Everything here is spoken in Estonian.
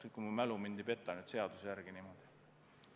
Kui mu mälu nüüd ei peta, siis seaduse järgi on see nii.